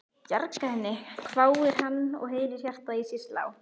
Bjarga henni? hváir hann og heyrir hjartað í sér slá.